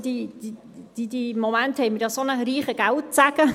Im Moment haben wir ja einen so reichen Geldsegen.